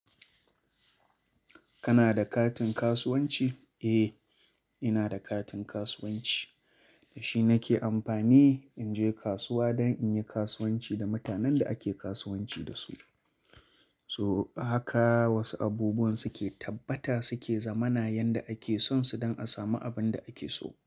Kana da katin kasuwanci? Eh, ina da katin kasuwanci. Da shi nake amfani in je kasuwa don in yi kasuwanci da mutanen da ake kasuwanci da su. So haka wasu abubuwan suke tabbata suke zamana yadda ake son su don a samu abin da ake so.